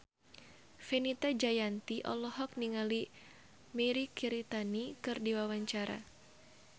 Fenita Jayanti olohok ningali Mirei Kiritani keur diwawancara